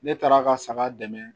Ne taara ka saga dɛmɛ